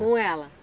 Com ela?